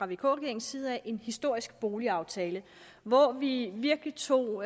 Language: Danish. vk regeringens side en historisk boligaftale hvor vi virkelig tog